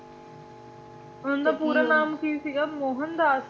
ਉਨ੍ਹਾਂ ਦਾ ਪੂਰਾ ਨਾਮ ਕੀ ਸੀਗਾ ਮੋਹਨਦਾਸ